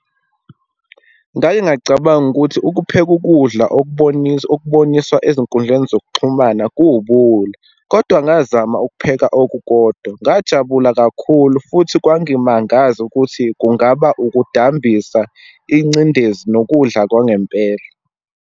Ngake ngacabanga ukuthi ukupheka ukudla okubonisa, okuboniswa ezinkundleni zokuxhumana kuwubuwula, kodwa ngazama ukupheka okukodwa. Ngajabula kakhulu futhi kwangimangaza ukuthi kungaba ukudambisa ingcindezi nokudla kwangempela.